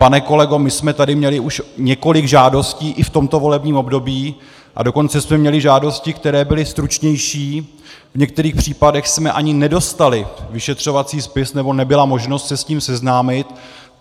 Pane kolego, my jsme tady měli už několik žádostí i v tomto volebním období, a dokonce jsme měli žádosti, které byly stručnější, v některých případech jsme ani nedostali vyšetřovací spis, nebo nebyla možnost se s ním seznámit.